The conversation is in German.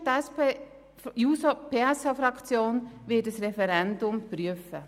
Die SP-JUSO-PSA-Fraktion wird ein Referendum prüfen.